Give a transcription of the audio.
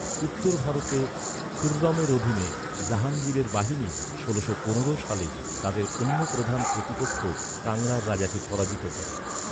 উত্তর ভারতে, খুররমের অধীনে জাহাঙ্গীরের বাহিনী ষোলোশো পনেরো সালে তাদের অন্য প্রধান প্রতিপক্ষ কাংড়ার রাজাকে পরাজিত করে।